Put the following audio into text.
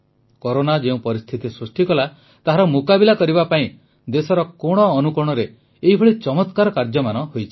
corona ଯେଉଁ ପରିସ୍ଥିତି ସୃଷ୍ଟି କଲା ତାହାର ମୁକାବିଲା କରିବା ପାଇଁ ଦେଶର କୋଣ ଅନୁକୋଣରେ ଏଭଳି ଚମତ୍କାର କାର୍ଯ୍ୟମାନ ହୋଇଛି